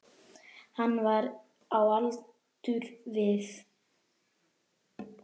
Hann var á aldur við